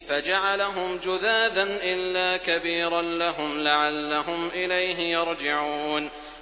فَجَعَلَهُمْ جُذَاذًا إِلَّا كَبِيرًا لَّهُمْ لَعَلَّهُمْ إِلَيْهِ يَرْجِعُونَ